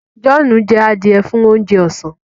John jẹ adiẹ fún oúnjẹ ọsán